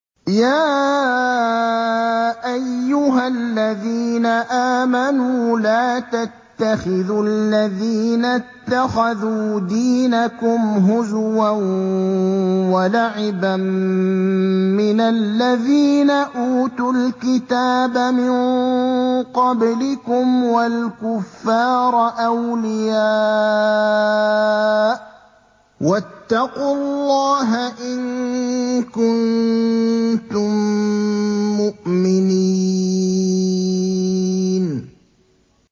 يَا أَيُّهَا الَّذِينَ آمَنُوا لَا تَتَّخِذُوا الَّذِينَ اتَّخَذُوا دِينَكُمْ هُزُوًا وَلَعِبًا مِّنَ الَّذِينَ أُوتُوا الْكِتَابَ مِن قَبْلِكُمْ وَالْكُفَّارَ أَوْلِيَاءَ ۚ وَاتَّقُوا اللَّهَ إِن كُنتُم مُّؤْمِنِينَ